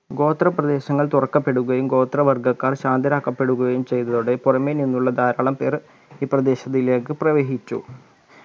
ഗോത്രപ്രേദശങ്ങൾ തുറക്കപ്പെടുകയും ഗോത്രവർഗ്ഗക്കാർ ശാന്തരാക്കപ്പെടുകയും ചെയ്‌തതോടെ പുറമെ നിന്നുള്ള ധാരാളം പേർ ഈ പ്രാദേശിത്തിലേക്ക് പ്രവേശിച്ചു